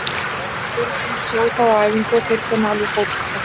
Við erum búnir að sjá þá á æfingum og þeir kunna alveg fótbolta.